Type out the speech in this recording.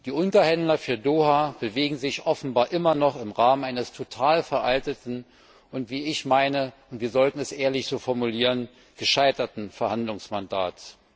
Die Unterhändler für Doha bewegen sich offenbar immer noch im Rahmen eines völlig veralteten und ich meine, wir sollten es ehrlich so formulieren gescheiterten Verhandlungsmandats.